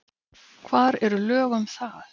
Hvar eru lög um það?